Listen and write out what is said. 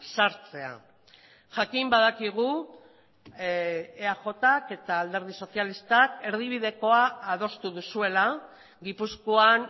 sartzea jakin badakigu eajk eta alderdi sozialistak erdibidekoa adostu duzuela gipuzkoan